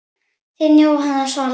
Þín Jóhanna Svala.